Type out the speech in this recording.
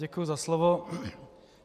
Děkuji za slovo.